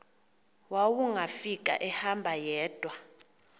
wawungafika ehamba yedwa